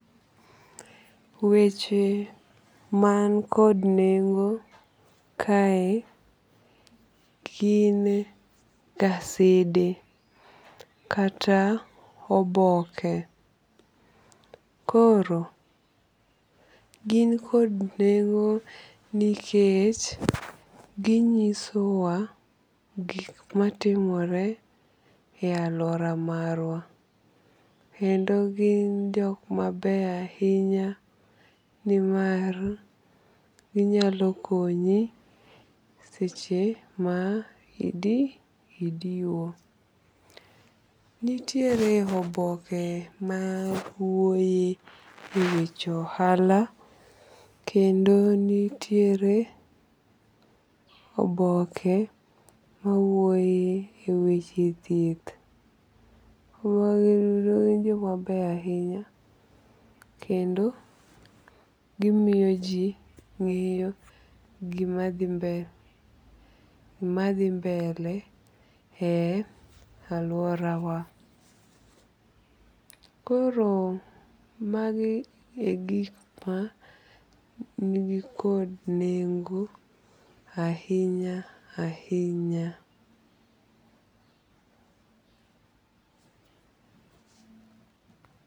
Weche man kod nego kae gin gasede kata oboke koro gin kod neng'o nikech ginyisowa gik matimore e aluora marwa kendo gin jok mabeyo ahinya nimar ginyalo konyi seche ma idiwo, nitiere oboke mawuoye weche ohala kendo nitiere oboke mawuoye e weche thieth ,magi gin joma beyo ahinya kendo gimiyo ji ng'eyo gima dhi mbele e aluorawa koro magi e gik man kod neng'o ahinya ahinya